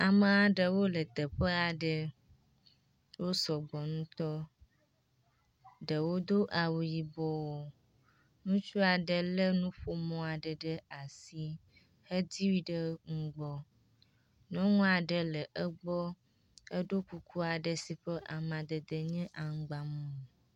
Ame ɖewo le teƒe aɖe. Wosɔ gbɔ ŋutɔ. Ɖewo do awu yibɔ. Ŋutsu aɖe lé nuƒomɔ aɖe asi hedui ɖe nugbɔ. Nyɔnu aɖe le egbɔ eɖo kuku aɖe si ƒe amadede nye aŋgba mumu.